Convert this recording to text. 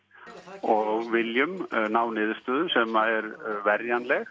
og viljum ná niðurstöðu sem er